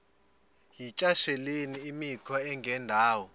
yityesheleni imikhwa engendawo